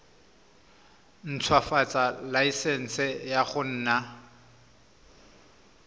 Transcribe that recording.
ntshwafatsa laesense ya go nna